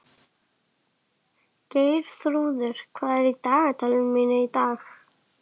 Geirþrúður, hvað er í dagatalinu mínu í dag?